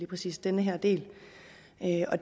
præcis den her del